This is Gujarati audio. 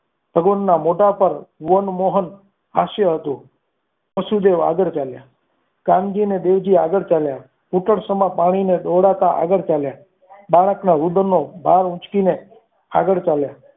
ભગવાનના મોઢા પર વનમોહન હાસ્ય હતું. વસુદેવ આગળ ચાલ્યા કાનજીને દેવજી આગળ ચાલ્યા ઘૂંટણ સમા પાણીને દોડતા આગળ ચાલે બાળકના રુદનનો ભાવ જોઈને આગળ ચાલ્યા